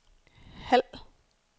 halv